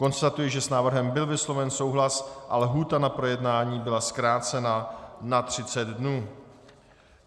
Konstatuji, že s návrhem byl vysloven souhlas a lhůta na projednání byla zkrácena na 30 dnů.